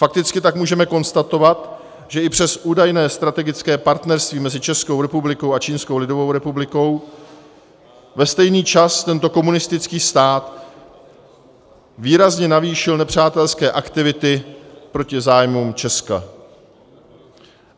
Fakticky tak můžeme konstatovat, že i přes údajné strategické partnerství mezi Českou republikou a Čínskou lidovou republikou ve stejný čas tento komunistický stát výrazně navýšil nepřátelské aktivity proti zájmům Česka.